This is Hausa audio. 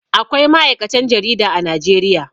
Akwai ma'aikatan jarida a Najeriya.